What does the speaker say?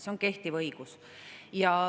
See on kehtiv õigus.